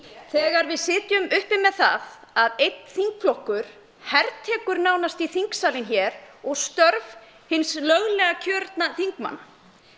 þegar við sitjum uppi með það að einn þingflokkur hertekur nánast þingsalinn hér og störf hins löglega kjörna þingmanna